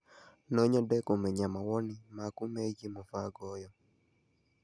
No nyende kũmenya mawoni maku megiĩ mũbango ũyũ.